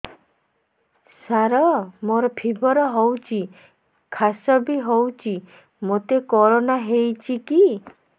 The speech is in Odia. ସାର ମୋର ଫିବର ହଉଚି ଖାସ ବି ହଉଚି ମୋତେ କରୋନା ହେଇଚି କି